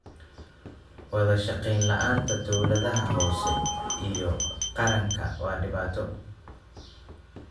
Wada shaqayn la'aanta dawladaha hoose iyo qaranka waa dhibaato.